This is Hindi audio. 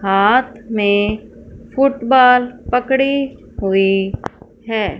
हाथ में फुटबॉल पकड़ी हुई है।